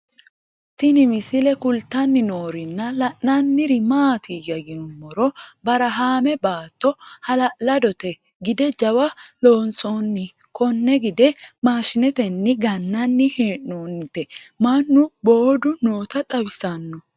Tinni misile kulittanni noorrinna la'nanniri maattiya yinummoro barahaamme baatto hala'ladotte gide jawa loonsoonni konne gide mashinettenni gananni hee'nonnitte mannu booddu nootta xawissanno